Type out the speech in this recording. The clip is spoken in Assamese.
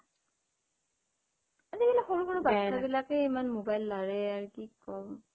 আজি কালি সৰু সৰু বাচ্ছা বিলাকেই ইমান মোবাইল লাৰে আৰু কি কম